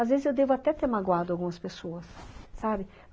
Às vezes eu devo até ter magoado algumas pessoas, sabe?